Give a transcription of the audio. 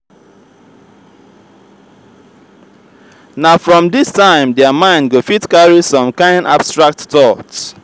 na from this time their mind go fit carry some kind abstract thought